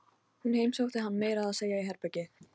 Hún heimsótti hann meira að segja í herbergið.